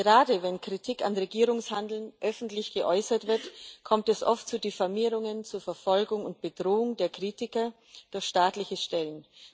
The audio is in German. Gerade wenn Kritik an Regierungshandeln öffentlich geäußert wird, kommt es oft zu Diffamierungen, zur Verfolgung und Bedrohung der Kritiker durch staatliche Stellen.